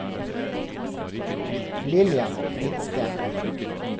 Lillian Hvidsten